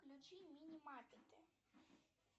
включи мини маппеты